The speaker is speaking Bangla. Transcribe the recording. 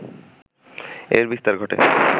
এর বিস্তার ঘটে